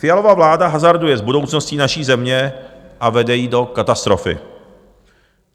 Fialova vláda hazarduje s budoucností naší země a vede ji do katastrofy.